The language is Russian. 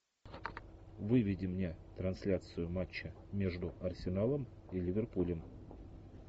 выведи мне трансляцию матча между арсеналом и ливерпулем